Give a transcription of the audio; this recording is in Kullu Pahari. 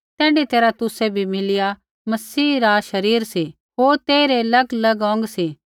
तैण्ढी तैरहा तुसै भी मिलिया मसीही रा शरीर सी होर तेइरै अलगअलग अौंग सी